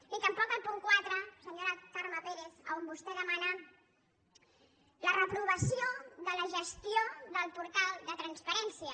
ni tampoc al punt quatre senyora carme pérez on vostè demana la reprovació de la gestió del portal de transparència